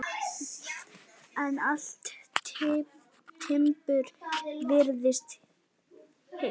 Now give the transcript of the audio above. En allt timbur virtist heilt.